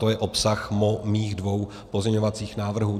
To je obsah mých dvou pozměňovacích návrhů.